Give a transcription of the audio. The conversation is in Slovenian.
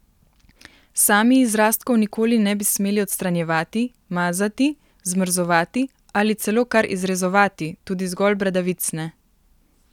Sami izrastkov nikoli ne bi smeli odstranjevati, mazati, zmrzovati ali celo kar izrezovati, tudi zgolj bradavic ne!